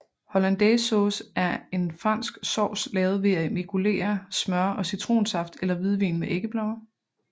Hollandaisesauce er en fransk sovs lavet ved at emulgere smør og citronsaft eller hvidvin med æggeblommer